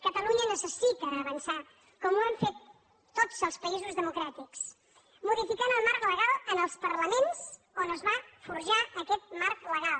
catalunya necessita avançar com ho han fet tots els països democràtics modificant el marc legal en els parlaments on es va forjar aquest marc legal